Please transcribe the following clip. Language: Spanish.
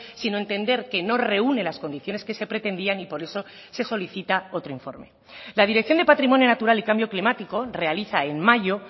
sino entender que no reúne las condiciones que se pretendían y por eso se solicita otro informe la dirección de patrimonio natural y cambio climático realiza en mayo